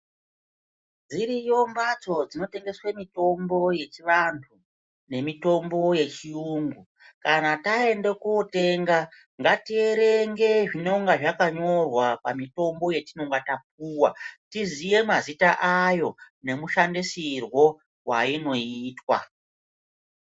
Dziriyo mbatso dzinotengeswe mitombo yechivanhu nemitombo yechiyungu. Kana taende kotenga ngatierenge zvinonga zvakanyorwa pamitombo yetinonga tapuwa tiziye mazita ayo nemushandisirwo wainoitwa.